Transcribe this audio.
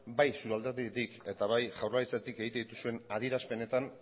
bai zure alderditik eta bai jaurlaritzatik egiten dituzuen adierazpenetan